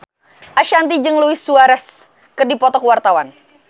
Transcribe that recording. Ashanti jeung Luis Suarez keur dipoto ku wartawan